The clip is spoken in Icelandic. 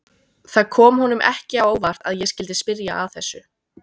Það kom honum ekki á óvart að ég skyldi spyrja að þessu.